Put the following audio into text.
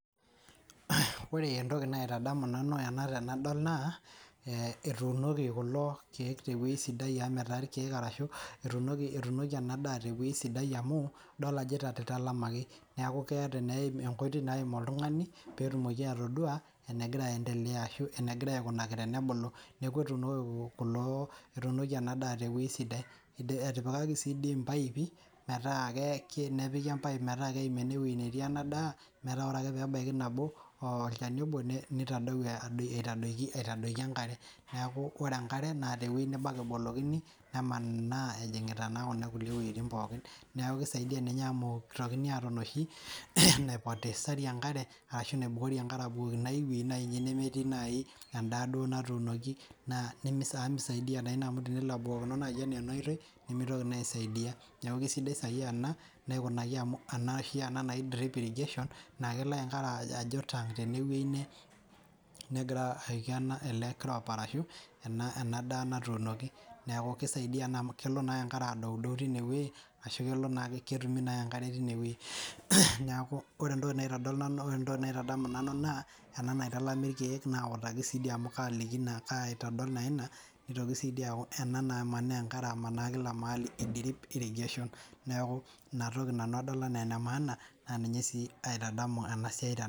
Ore entoki naitadamu nanu anadol naa etuunoki enadaa tewoi sidai amu idol ajo italamaki neaku keetae ewoi naim oltungani petumoki atodua enegira aikunaki tenebulu neaku etuunoki enadaa tewoi sidai neaku etuunoki mpaipi nepiki metaa Keim enetii inadaa metaa ore ake pebaki olchata obo nintoki aitadoki enkare neaku ore emkare na tewoi nebo ake ebolunyeki nemanaa neaku kisaidia ninye amu mitokini aata enoshi naibukori enkare nai endaa natuunoki amu tenelo abukokini enaoitoi nimitoki aisaidia neaju kesidai ena amu kelo enkare ajo tang tenewueji na ketumi naake enkare tinewueji neaku ore entoki naitadamu nanu nitoki si aaku ena namanaa enkare e drip irrigation na inatoki adol anaa enemaana na ninye aitadamu enasia